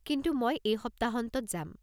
কিন্তু মই এই সপ্তাহান্তত যাম।